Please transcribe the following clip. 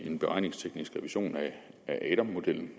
en beregningsteknisk revision af adam modellen